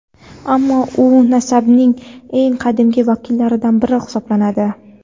ammo u nasabning eng qadimgi vakillaridan biri hisoblanadi.